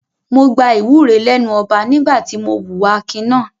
Mo gba ìwúre lẹ́nu ọba nígbà tí mo hùwà akin náà.